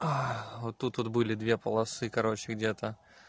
вот тут вот были две полосы короче где-то